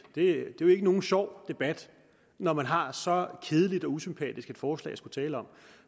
det ikke er nogen sjov debat når man har så kedeligt og usympatisk et forslag at skulle tale om